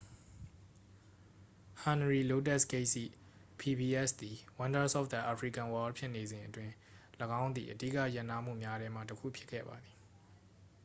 ဟနရီလိုးတက်စ်ဂိတ်စ် ၏ pbs သည် wonders of the african world ဖြစ်နေစဉ်အတွင်း ၎င်းသည် အဓိကရပ်နားမှုများထဲမှတစ်ခုဖြစ်ခဲ့ပါသည်